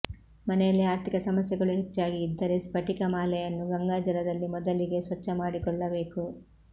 ಮನೆಯಲ್ಲಿ ಆರ್ಥಿಕ ಸಮಸ್ಯೆಗಳು ಹೆಚ್ಚಾಗಿ ಇದ್ದರೆ ಸ್ಫಟಿಕ ಮಾಲೆಯನ್ನು ಗಂಗಾಜಲದಲ್ಲಿ ಮೊದಲಿಗೆ ಸ್ವಚ್ಛ ಮಾಡಿಕೊಳ್ಳಬೇಕು